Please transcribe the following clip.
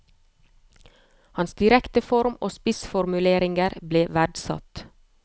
Hans direkte form og spissformuleringer ble verdsatt.